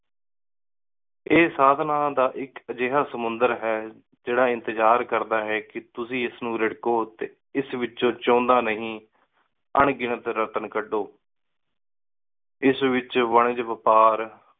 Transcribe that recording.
ਇਹ ਸਘਾਰ ਨਾਮ ਦਾ ਇਕ ਅਜੇਹਾ ਸਮੁੰਦਰ ਹੈ ਜੇਰ੍ਰਾ ਇੰਤੇਜ਼ਾਰ ਕਰਦਾ ਹੈ ਕ ਤੁਸੀਂ ਇਸ ਨੂ ਰਾਰ੍ਹ੍ਕੋ ਟੀ ਏਸ ਏਚ ਚੌਂਦਾ ਨੀ ਆਂ ਗਿਨਾਤ ਏਸ ਏਚ ਵਪਾਰ